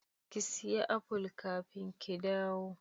Ki siya aful kafin ki dawo.